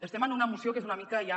estem en una moció que és una mica ja